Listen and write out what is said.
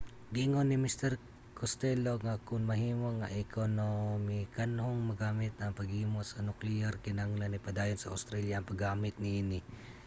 giingon ni mr costello nga kon mahimo nga ekonomikanhong magamit ang paghimo sa nukleyar kinahanglan ipadayon sa australia ang paggamit niini